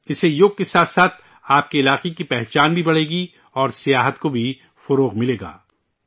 اس سے یوگ کے ساتھ ساتھ آپ کے علاقے کی پہچان بھی بڑھے گی اور سیاحت کو بھی فروغ ملے گا